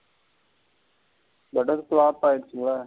flop ஆகிரிச்சில.